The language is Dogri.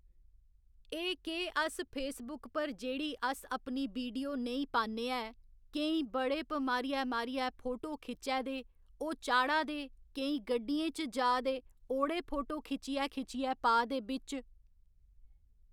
एह् केह् अस फेसबुक पर जेह्‌ड़ी अस अपनी बिडियो नेईं पान्ने ऐ केईं बड़े प मारियै मारियै फोटो खिच्चै दे ओह् चाढ़ा दे केई गड्डियें च जा'दे ओह्ड़े फोटो खिच्चियै खिच्चियै पा दे बिच